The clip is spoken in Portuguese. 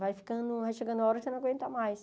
Vai ficando vai chegando a hora que você não aguenta mais.